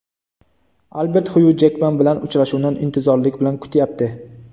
Albert Xyu Jekman bilan uchrashuvni intizorlik bilan kutyapti.